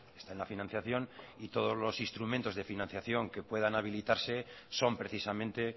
está en la financiación y todos los instrumentos de financiación que puedan habilitarse son precisamente